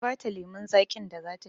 Na ba ta lemon zaƙin da za ta sha